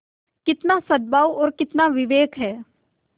कितना सदभाव और कितना विवेक है